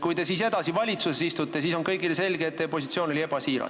Kui te siis edasi valitsuses istute, siis on kõigile selge, et teie positsioon oli ebasiiras.